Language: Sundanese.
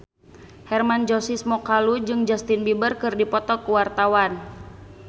Hermann Josis Mokalu jeung Justin Beiber keur dipoto ku wartawan